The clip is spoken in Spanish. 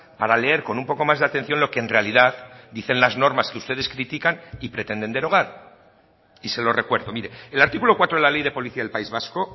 para leer con un poco más de atención lo que en realidad dicen las normas que ustedes critican y pretenden derogar y se lo recuerdo mire el artículo cuatro de la ley de policía del país vasco